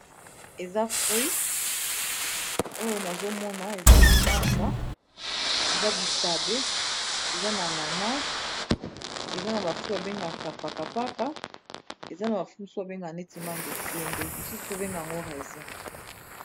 Eza fruit oyo nazo mona ezali manga, eza bitabe, eza na ananas, eza na ba fruit ba bengaka paka paka, eza na ba fruit mususu ba bengaka neti manga esende, mosusu pe ba bengaka yango resin.